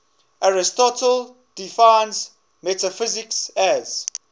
aristotle defines metaphysics as